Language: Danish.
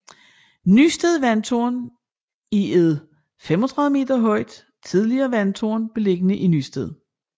Nysted Vandtårn er et 35 meter højt tidligere vandtårn beliggende i Nysted